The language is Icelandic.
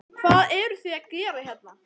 Hvað eru þið að gera hérna?